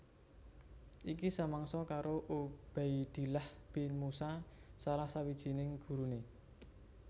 Iki samangsa karo Ubaidillah bin Musa salah sawijining guruné